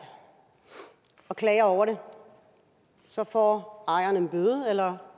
og klager over det så får ejeren en bøde eller